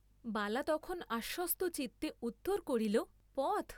বালা তখন আশ্বস্তচিত্তে উত্তর করিল, পথ?